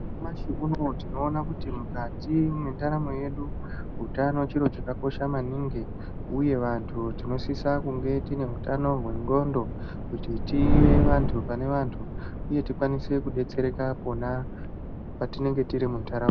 Nyamashi unowu tinoona kuti mukati mwendaramo yedu utano chiro chakakosha maningi uye vantu tinosisa kunge tineutano wendxondo kuti tive vantu panevantu uye tikwanise kudetsereka pona patinenge tiri mundaraunda.